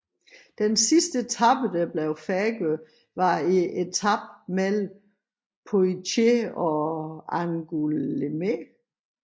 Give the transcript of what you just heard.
Den sidste etape der færdiggjordes var etapen mellem Poitiers og Angoulême